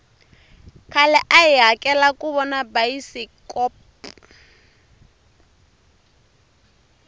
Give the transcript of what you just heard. khale a hi hakela kuvona bayisikpo